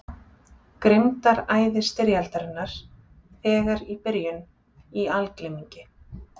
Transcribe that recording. Grimmdaræði styrjaldarinnar þegar í byrjun í algleymingi.